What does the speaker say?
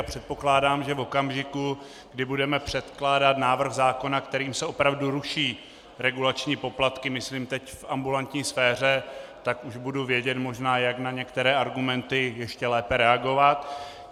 A předpokládám, že v okamžiku, kdy budeme předkládat návrh zákona, kterým se opravdu ruší regulační poplatky, myslím teď v ambulantní sféře, tak už budu vědět možná, jak na některé argumenty ještě lépe reagovat.